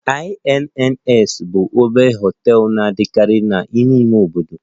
Inns bụ obere hotels na-adịkarị n'ime ime obodo